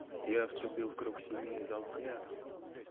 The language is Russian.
я вступил в круг семьи и дал клятву